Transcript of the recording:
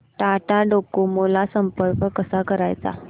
Tata Docomo ला संपर्क कसा करायचा